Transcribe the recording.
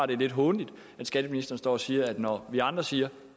det er lidt hånligt at skatteministeren står og siger at når vi andre siger